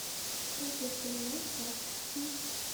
сбер понимаешь баскский